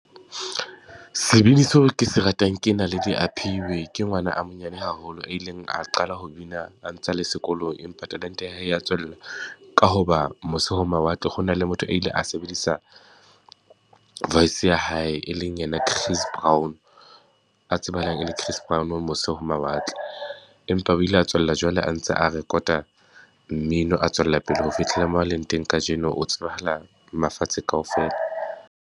Sebini seo ke se ratang ke Naledi Aphiwe, ke ngwana a monyane haholo. A ileng a qala ho bina, a ntse a le sekolong, empa talente ya hae ya tswella ka ho ba mose ho mawatle, ho na le motho a ile a sebedisa voice ya hae, e leng yena Chris Brown, tsebahalang e le Chris Brown mose ho mawatle. Empa o ile a tswella jwale a ntse a rekota mmino a tswella pele ho fitlhela moo a leng teng kajeno, o tsebahala mafatshe kaofela.